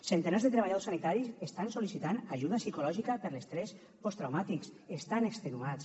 centenars de treballadors sanitaris estan sol·licitant ajuda psicològica per l’estrès posttraumàtic estan extenuats